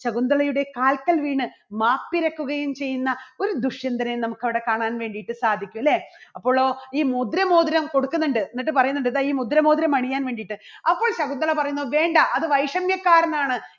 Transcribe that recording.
ശകുന്തളയുടെ കാൽക്കൽ വീണ് മാപ്പിരക്കുകയും ചെയ്യുന്ന ഒരു ദുഷ്യന്തനെ നമുക്ക് അവിടെ കാണാൻ വേണ്ടിയിട്ട് സാധിക്കും. അല്ലേ? അപ്പോളോ ഈ മുദ്ര മോതിരം കൊടുക്കുന്നുണ്ട് എന്നിട്ട് പറയുന്നുണ്ട് ഇതാ ഈ മുദ്ര മോതിരം അണിയാൻ വേണ്ടിയിട്ട് അപ്പോൾ ശകുന്തള പറയുന്നു വേണ്ട അത് വൈഷമ്യകാരനാണ്